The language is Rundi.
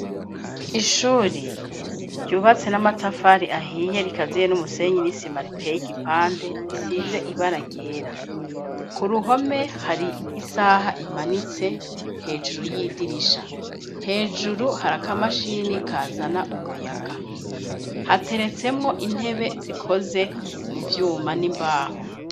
Ishuri ryubatse n'amatafari ahiye rikaziye n'umusenyi n'isima riteye igipande risize ibara ryera, ku ruhome hari isaha imanitse hejuru y'idirisha, hejuru hari akamashini kazana umuyaga, hateretsemwo intebe zikoze mu vyuma n'imbaho.